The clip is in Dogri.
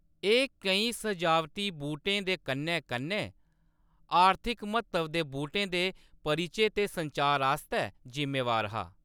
एह्‌‌ केईं सजावटी बूह्‌‌टें दे कन्नै-कन्नै आर्थिक म्हत्तव दे बूह्‌‌टें दे परिचे ते संचार आस्तै जिम्मेवार हा।